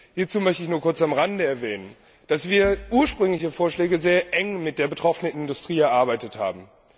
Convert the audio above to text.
Hierzu möchte ich nur kurz am Rande erwähnen, dass wir die ursprünglichen Vorschläge sehr eng mit der betroffenen Industrie erarbeitet haben.